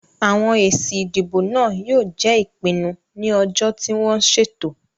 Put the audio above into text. Àwọn èsì ìdìbò náà yóò jẹ́ ìpinnu ní ọjọ́ tí wọ́n ṣètò.